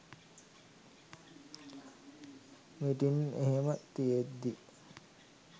meeting එහෙම තියෙද්දි